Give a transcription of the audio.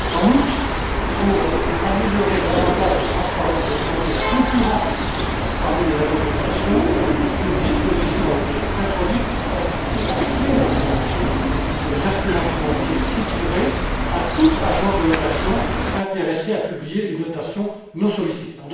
En outre, pour améliorer l'avantage de la transparence et augmenter la concurrence parmi les agences de notation, une disposition a été introduite pour faciliter l'accès à l'information sur les instruments financiers structurés de toute agence de notation intéressée à publier une notation non sollicitée.